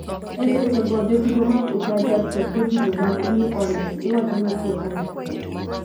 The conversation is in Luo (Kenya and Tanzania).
E seche go, jotugo mag Utah Jazz kod jotugo mag New Orleans iwacho ni tiyo kanyakla